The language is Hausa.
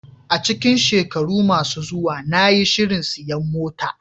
A cikin shekaru masu zuwa, na yi shirin siyan mota.